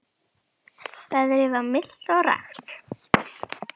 Veðrið var milt og rakt.